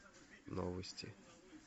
новости